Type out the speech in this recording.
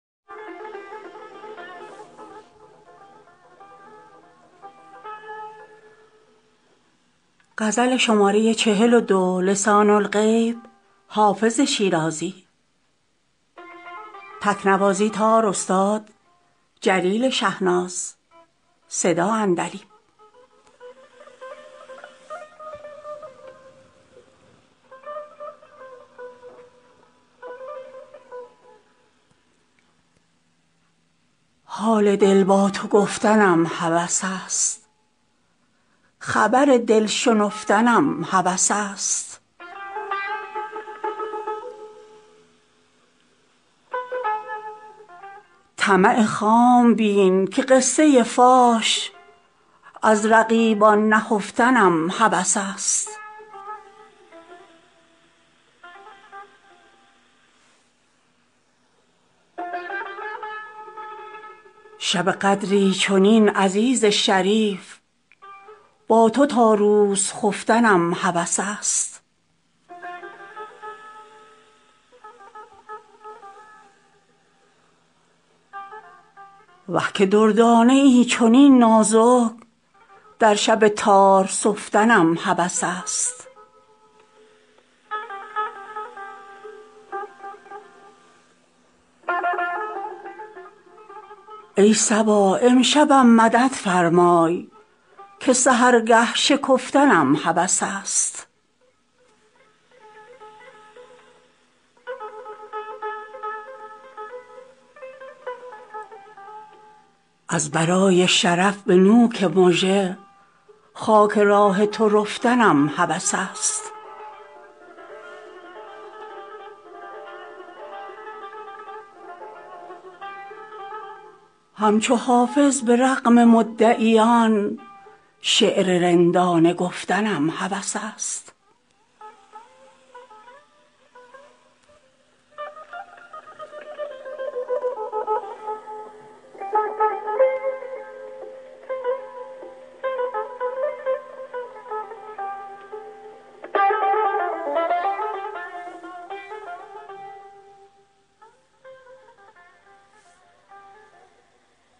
حال دل با تو گفتنم هوس است خبر دل شنفتنم هوس است طمع خام بین که قصه فاش از رقیبان نهفتنم هوس است شب قدری چنین عزیز شریف با تو تا روز خفتنم هوس است وه که دردانه ای چنین نازک در شب تار سفتنم هوس است ای صبا امشبم مدد فرمای که سحرگه شکفتنم هوس است از برای شرف به نوک مژه خاک راه تو رفتنم هوس است همچو حافظ به رغم مدعیان شعر رندانه گفتنم هوس است